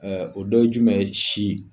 Ɛɛ o dɔ ye jumɛn ye ? si.